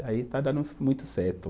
Aí está dando muito certo.